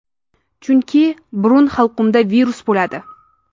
Chunki burun-halqumda virus bo‘ladi.